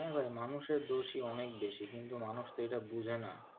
হ্যাঁ, ভাই মানুষের দোষই অনেক বেশি কিন্তু মানুষ তো এটা বোঝে না।